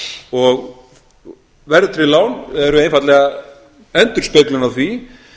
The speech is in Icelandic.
staða og verðtryggð lán eru einfaldlega endurspeglun á því